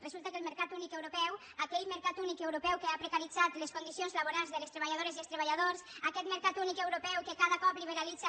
resulta que el mercat únic europeu aquell mercat únic europeu que ha precaritzat les condicions laborals de les treballadores i dels treballadors aquest mercat únic europeu que cada cop liberalitza